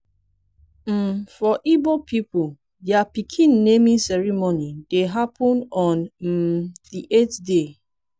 um for igbo pipol dia pikin naming ceremony dey hapun on um di eight day